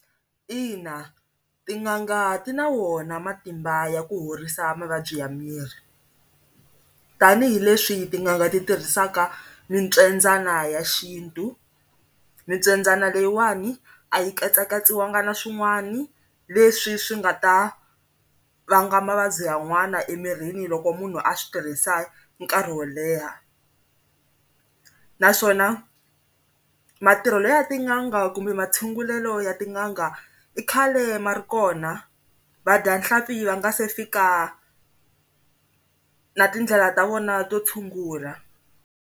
Ina, tin'anga ti na wona matimba ya ku horisa mavabyi ya miri tanihileswi tin'anga ti tirhisaka mipyendzana ya xintu mi pyendzana leyiwani a yi katsakatsiwanga na swin'wana leswi swi nga ta vanga mavabyi yan'wana emirini loko munhu a swi tirhisa nkarhi wo leha, naswona matirhelo ya tin'anga kumbe ma tshungulelo ya tin'anga i khale ma ri kona vadyanhlampfi va nga se fika na tindlela ta vona to tshungula.